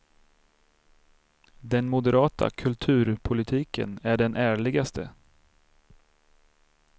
Den moderata kulturpolitiken är den ärligaste.